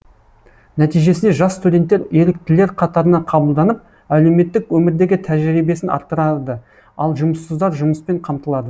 нәтижесінде жас студенттер еріктілер қатарына қабылданып әлеуметтік өмірдегі тәжірибесін арттырады ал жұмыссыздар жұмыспен қамтылады